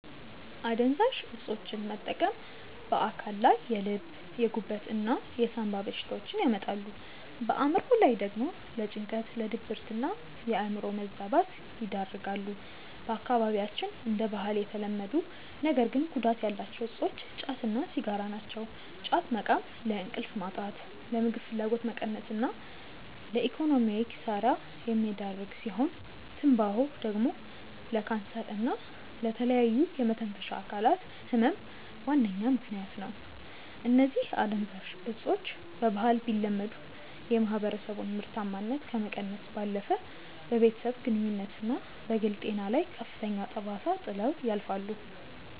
አደንዛዥ እፆችን መጠቀም በአካል ላይ የልብ፣ የጉበት እና የሳምባ በሽታዎችን ያመጣሉ፣ በአእምሮ ላይ ደግሞ ለጭንቀት፣ ለድብርትና የአእምሮ መዛባት ይዳርጋሉ። በአካባቢያችን እንደ ባህል የተለመዱ ነገር ግን ጉዳት ያላቸው እፆች ጫት እና ሲጋራ ናቸው። ጫት መቃም ለእንቅልፍ ማጣት፣ ለምግብ ፍላጎት መቀነስ እና ለኢኮኖሚያዊ ኪሳራ የሚዳርግ ሲሆን፤ ትንባሆ ደግሞ ለካንሰር እና ለተለያዩ የመተንፈሻ አካላት ህመም ዋነኛ ምከንያት ነው። እነዚህ አደንዛዥ እፆች በባህል ቢለመዱም፣ የማህበረሰቡን ምርታማነት ከመቀነስ ባለፈ በቤተሰብ ግንኙነትና በግል ጤና ላይ ከፍተኛ ጠባሳ ጥለው ያልፋሉ።